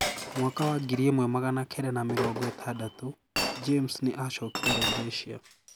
Mwaka wa ngiri ĩmwe magana kenda na mĩrongo ĩtandatũ, James nĩ acokire Rhodesia